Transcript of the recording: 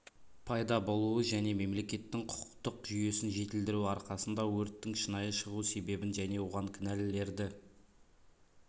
пайда болуы және мемлекеттің құқықтық жүйесін жетілдіру арқасында өрттің шынайы шығу себебін және оған кінәлілерді